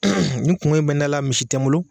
nin kuŋo in bɛ n da la misi tɛ n bolo